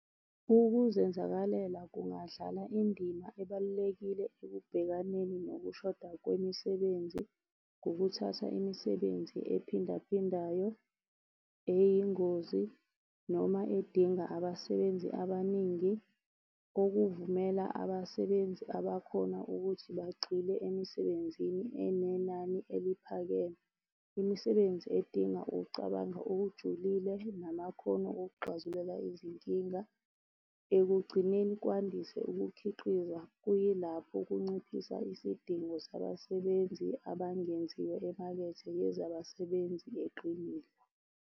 Ukuzenzakalela kungadlala indima ebalulekile ekubhekaneni ngokushoda kwemisebenzi, ngokuthatha imisebenzi ephindaphindayo, eyingozi, noma edinga abasebenzi abaningi, okuvumela abasebenzi abakhona ukuthi bagxile emisebenzini enenani eliphakeme. Imisebenzi edinga ukucabanga okujulile namakhono okuxazulula izinkinga. Ekugcineni, kwandiswe ukukhiqiza kuyilapho kunciphisa isidingo sabasebenzi abangeziwe emakethe yezabasebenzi eqinile.